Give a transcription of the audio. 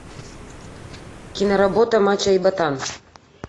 киноработа мачо и ботан